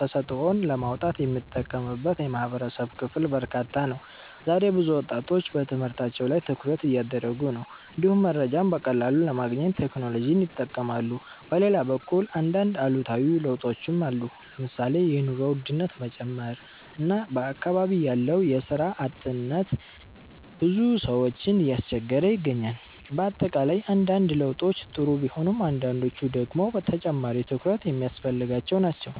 ተሰጥኦን ለማውጣት የሚጠቀምበት የማህበረሰብ ክፍል በርካታ ነው። ዛሬ ብዙ ወጣቶች በትምህርታቸው ላይ ትኩረት እያደረጉ ነው፣ እንዲሁም መረጃን በቀላሉ ለማግኘት ቴክኖሎጂን ይጠቀማሉ። በሌላ በኩል አንዳንድ አሉታዊ ለውጦችም አሉ። ለምሳሌ የኑሮ ውድነት መጨመር እና በአካባቢ ያለው የስራ እጥረት ብዙ ሰዎችን እያስቸገረ ይገኛል። በአጠቃላይ አንዳንድ ለውጦች ጥሩ ቢሆኑም አንዳንዶቹ ደግሞ ተጨማሪ ትኩረት የሚያስፈልጋቸው ናቸው።